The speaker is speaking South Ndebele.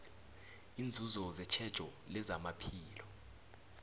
iinzuzo zetjhejo lezamaphilo